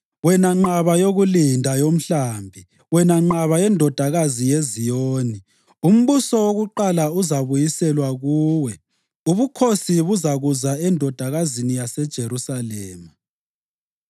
Wena nqaba yokulinda yomhlambi, wena nqaba yeNdodakazi yeZiyoni, umbuso wakuqala uzabuyiselwa kuwe; ubukhosi buzakuza eNdodakazini yaseJerusalema.”